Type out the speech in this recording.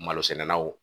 Malosɛnɛnaw